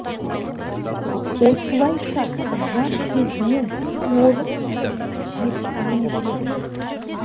осылайша жас кезінен орыс тілін жетік меңгереді